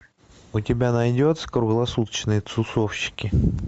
у тебя найдется круглосуточные тусовщики